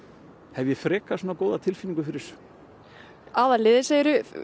hef ég frekar góða tilfinningu fyrir þessu aðalliðið segirðu